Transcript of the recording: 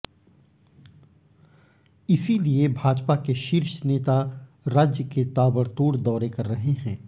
इसीलिए भाजपा के शीर्ष नेता राज्य के ताबड़तोड़ दौरे कर रहे हैं